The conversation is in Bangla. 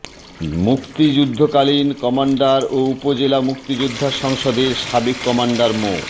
মুক্তিযুদ্ধকালীন কমান্ডার ও উপজেলা মুক্তিযোদ্ধা সংসদের সাবেক কমান্ডার মো